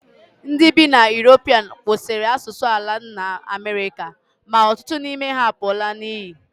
Ndị bi na Europe kwụsịrị asụsụ ala nna Amerịka, ma ọtụtụ n'ime ha apụọla n'iyi